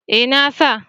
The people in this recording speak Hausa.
Eh na sa